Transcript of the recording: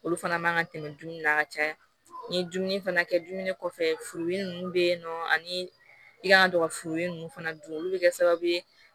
Olu fana man kan ka tɛmɛ dumuni na ka caya ni dumuni fana kɛ dumuni kɔfɛ furudi ninnu bɛ yen nɔ ani i kan ka to ka furu ninnu fana dun olu bɛ kɛ sababu ye